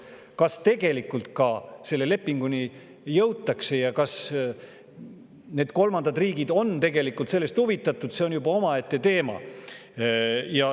Kas tegelikult ka selle lepinguni jõutakse ja kas need kolmandad riigid on sellest huvitatud, see on juba omaette teema.